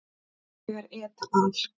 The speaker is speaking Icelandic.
Þegar et al.